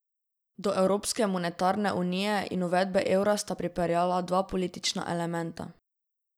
Do evropske monetarne unije in uvedbe evra sta pripeljala dva politična elementa.